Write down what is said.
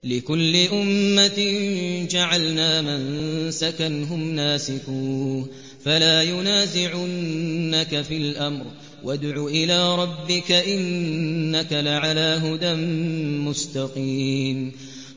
لِّكُلِّ أُمَّةٍ جَعَلْنَا مَنسَكًا هُمْ نَاسِكُوهُ ۖ فَلَا يُنَازِعُنَّكَ فِي الْأَمْرِ ۚ وَادْعُ إِلَىٰ رَبِّكَ ۖ إِنَّكَ لَعَلَىٰ هُدًى مُّسْتَقِيمٍ